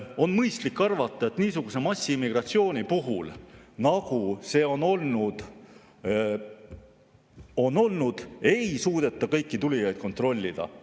On mõistlik arvata, et niisuguse massiimmigratsiooni puhul, nagu see on olnud, ei suudeta kõiki tulijaid kontrollida.